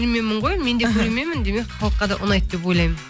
менде көрерменмін демек халыққа да ұнайды деп ойлаймын